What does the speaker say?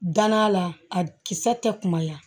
Dann'a la a kisɛ tɛ kumaya